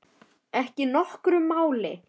Ekki nokkru máli.